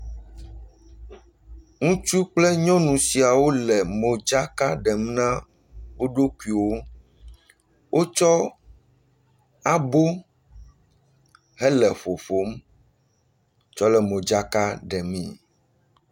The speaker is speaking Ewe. Ŋutsu kple nyɔnu sia wole modzaka ɖem na wo ɖokuiwo. Wotsɔ abo hele ƒoƒom tsɔ le modzaka ɖemee.